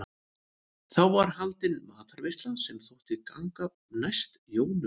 Þá var haldin matarveisla sem þótti ganga næst jólunum.